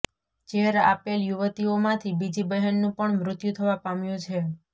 ઝેર આપેલ યુવતીઓમાંથી બીજી બહેનનું પણ મૃત્યુ થવા પામ્યું છે